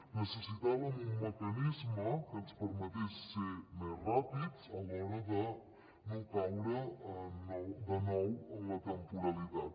necessitàvem un mecanisme que ens permetés ser més ràpids a l’hora de no caure de nou en la temporalitat